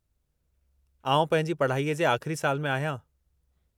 आउं पंहिंजी पढ़ाईअ जे आख़िरी साल में आहियां।